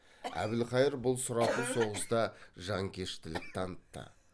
әбілқайыр бұл сұрапыл соғыста жанкештілік танытты